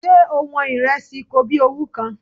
Ṣé o wọn ìrẹsì kobíowú kan?